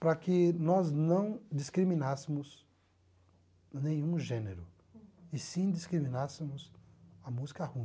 para que nós não discriminássemos nenhum gênero, e sim discriminássemos a música ruim.